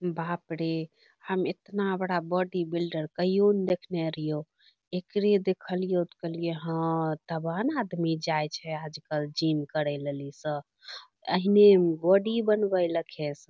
बाप रे हम एतना बड़ा बाॅडीबिल्डर कहियो ने देखने रहियो एकरे देखलियो ते कहलियों हां तब न आदमी जाय छै आजकल जिम करै लेली सब इ सब ऐहने बाॅडी बनबै लेखें स --